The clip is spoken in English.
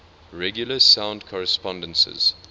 regular sound correspondences